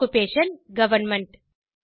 occupation government